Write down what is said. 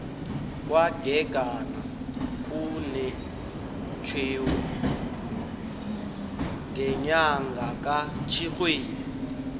kwagegana kunetjhewu ngenyanga katjhirhweni